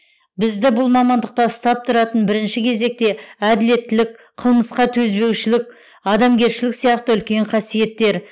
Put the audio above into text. бізді бұл мамандықта ұстап тұратын бірінші кезекте әділеттілік қылмысқа төзбеушілік адамгершілік сияқты үлкен қасиеттер